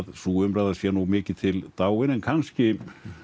sú umræða sé mikið til dáin en kannski